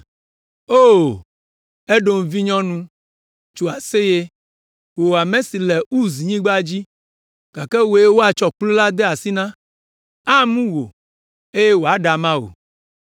O, Edom vinyɔnu, tso aseye, wò ame si le Uznyigba dzi. Gake wòe woatsɔ kplu la ade asi na, amu wò eye woaɖe ama wò.